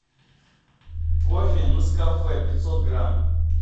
кофе нескафе пятьсот грамм